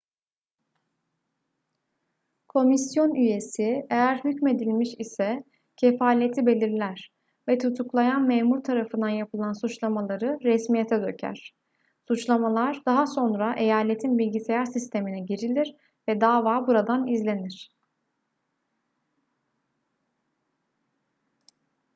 komisyon üyesi eğer hükmedilmiş ise kefaleti belirler ve tutuklayan memur tarafından yapılan suçlamaları resmiyete döker suçlamalar daha sonra eyaletin bilgisayar sistemine girilir ve dava buradan izlenir